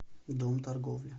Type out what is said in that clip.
дом торговли